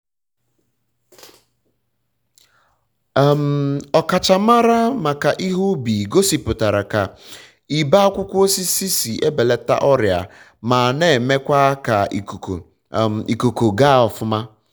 ọkachamara maka ihe ubi gosiputara ka ibe akwụkwọ osisi si ebelata ọrịa ma emekwa ka ikuku ga ọfuma